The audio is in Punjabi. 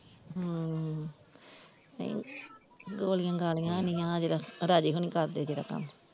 ਹਮ ਨਹੀਂ ਗੋਲੀਆਂ ਗਾਲੀਆਂ ਨੀ ਆਹ ਜਿਹੜਾ ਰਾਜੇ ਹੋਣੀ ਕਰਦੇ ਜਿਹੜਾ।